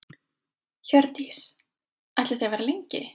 Hjördís: Ætlið þið að vera lengi?